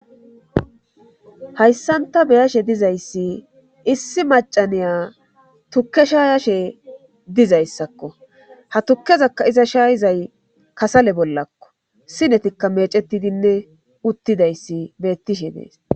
hayssan ta beyashe dizayssi issi macaniya tukke sha yashe dizayssakko ha tukkezakka iza shayizay kasale bollakko sinetikka mecetidinne uttidayssi beettishe nees